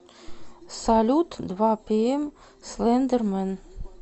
салют два пиэм слэндэр мэн